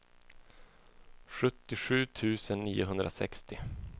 sjuttiosju tusen niohundrasextio